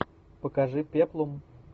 покажи пеплум